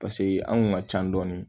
Paseke an kun ka ca dɔɔni